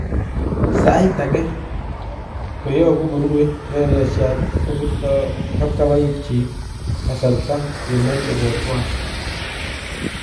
Sayiit akee , nkoyabuu korue reresyat kobiirtaa kabkabaik chik kasarta yemache kotwaal